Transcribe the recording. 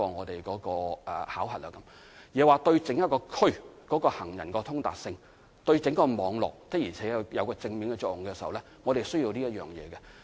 另外，行人天橋對整個區域的行人通達性、對整個網絡是否確實有正面作用，這些也是需要符合的條件。